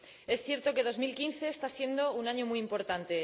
Es cierto que 2015 está siendo un año muy importante.